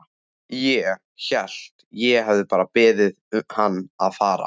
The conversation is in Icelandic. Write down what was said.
Ég. held ég hafi bara beðið hann að fara.